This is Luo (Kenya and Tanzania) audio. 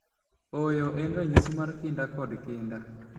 Ooyo, en ranyisi mar kinda kod kinda.